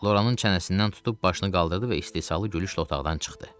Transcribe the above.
Loranın çənəsindən tutub başını qaldırdı və istehzalı gülüşlə otaqdan çıxdı.